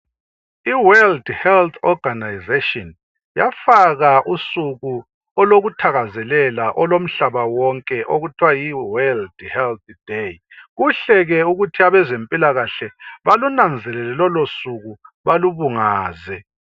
IWorld Health Organisation yafaka usuku olokuthakazelela olomhlaba wonke okuthiwa yiWorld Health day. Kuhle ke ukuthi abezempilakahle balunanzelele lolosuku balubungaze.